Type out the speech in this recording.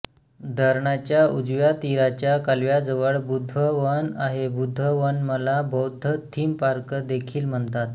धरणाच्या उजव्या तीराच्या कालव्याजवळ बुद्धवन आहे बुद्धवनमला बौद्ध थीम पार्क देखील म्हणतात